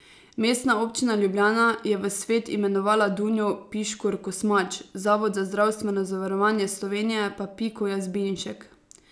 Mestna občina Ljubljana je v svet imenovala Dunjo Piškur Kosmač, Zavod za zdravstveno zavarovanje Slovenije pa Piko Jazbinšek.